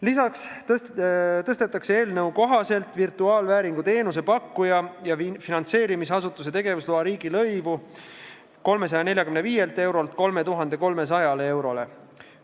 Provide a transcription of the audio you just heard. Lisaks tõstetakse eelnõu kohaselt virtuaalvääringu teenuse pakkuja ja finantseerimisasutuse tegevusloa riigilõiv 345 eurolt 3300 euroni.